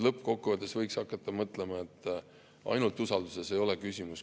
Lõppkokkuvõttes võiks hakata mõtlema, et ainult usalduses ei ole küsimus.